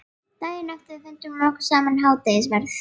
Daginn eftir bar fundum okkar saman eftir hádegisverð.